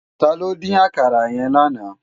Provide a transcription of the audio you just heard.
Tàló din àkàrá yèn láná?